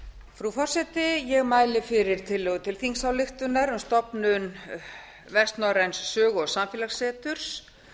frú forseti ég mæli fyrir tillögu til þingsályktunar um stofnun vestnorræns sögu og samfélagsseturs